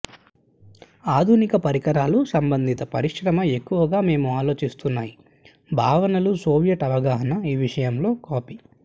ఆధునిక పరికరాలు సంబంధిత పరిశ్రమ ఎక్కువగా మేము ఆలోచిస్తున్నాయి భావనలు సోవియట్ అవగాహన ఈ విషయంలో కాపీ